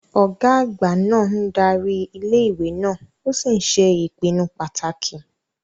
Ọ̀gá àgbà náà ń darí ilé ìwé náà ó sì ń ṣe ìpinnu pàtàkì